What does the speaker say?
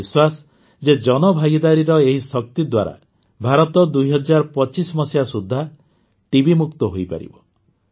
ମୋର ବିଶ୍ୱାସ ଯେ ଜନଭାଗିଦାରୀର ଏହି ଶକ୍ତି ଦ୍ୱାରା ଭାରତ ୨୦୨୫ ମସିହା ସୁଦ୍ଧା ଟିବିମୁକ୍ତ ହୋଇପାରିବ